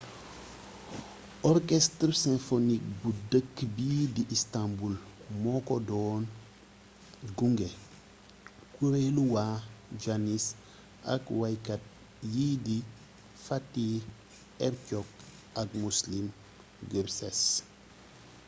orchestre symphonique bu dëkk bii di istanbul moo ko doon gunge kuréelu waa janis ak waykat yi di fatih erkoç ak müslüm gürses